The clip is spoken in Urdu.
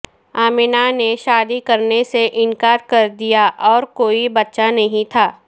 امینہ نے شادی کرنے سے انکار کردیا اور کوئی بچہ نہیں تھا